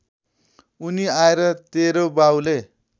उनी आएर तेरो बाउले